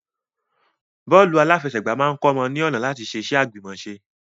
Bọ́ọ́lù aláfẹsẹ̀ máa kọ́mọ ní ọ̀nà láti ṣe iṣẹ́ àgbìmọ̀ṣe.